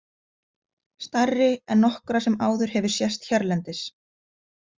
Stærri en nokkra sem áður hefur sést hérlendis.